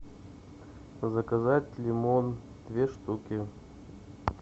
заказать лимон две штуки